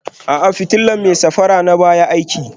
A'a, fitilar mai safara na baya aiki